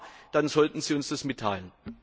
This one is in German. Wenn ja, dann sollten Sie uns das mitteilen.